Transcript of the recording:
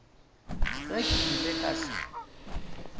ge ke ile ka se